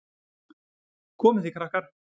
Komið þið, krakkar!